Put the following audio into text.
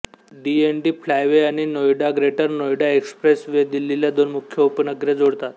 DND flyway आणि Noida greater Noida expressway दिल्लीला दोन मुख्य उपनगरे जोडतात